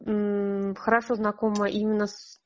хорошо знакомые именно с